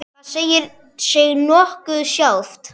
Það segir sig nokkuð sjálft.